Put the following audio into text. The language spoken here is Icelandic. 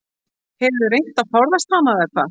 Hefurðu reynt að forðast hana eða hvað?